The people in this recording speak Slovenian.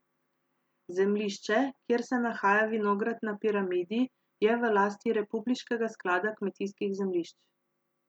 Zemljišče, kjer se nahaja vinograd na Piramidi, je v lasti republiškega sklada kmetijskih zemljišč.